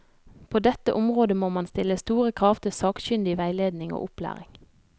På dette området må man stille store krav til sakkyndig veiledning og opplæring.